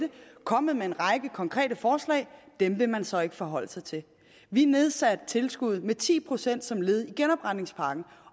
kommet med en række konkrete forslag dem vil man så ikke forholde sig til vi nedsatte tilskuddet med ti procent som led i genopretningspakken